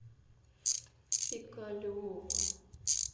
пикалево